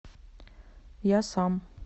я сам